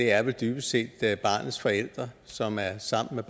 er vel dybest set barnets forældre som er sammen